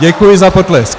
Děkuji za potlesk.